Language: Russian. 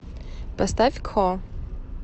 поставь кхо